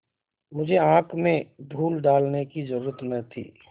मुझे आँख में धूल डालने की जरुरत न थी